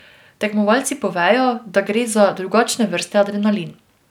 Tekmovalci povejo, da gre za drugačne vrste adrenalin.